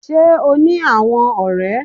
Sé o ní àwon òré